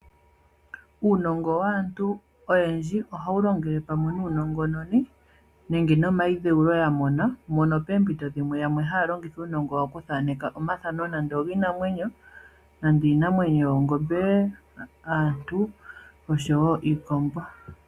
Uunongo waantu oyendji ohawu longele kumwe nuunongononi nenge nomayidhewulo ngoka yamona, mpono poompinto dhimwe aantu yamwe haalongitha uunongo wawo okuthaneka omathano giinamwenyo ngaashi oongombe, iikombo nosho woo omathano gaantu.